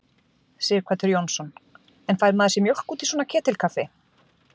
Sighvatur Jónsson: En fær maður sér mjólk út í svona ketilkaffi?